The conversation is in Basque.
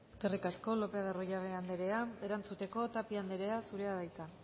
eskerrik asko lopez de arroyabe anderea erantzuteko tapia anderea zurea da hitza